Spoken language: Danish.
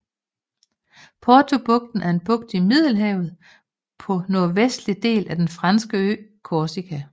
Portobugten er en bugt i Middelhavet på nordvestlige del af den franske ø Korsika